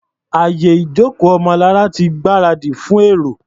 Àyè ìjókòó Ọmọlará ti gbáradì fún èrò.